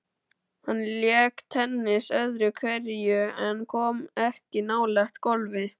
Hann lék tennis öðru hverju en kom ekki nálægt golfi.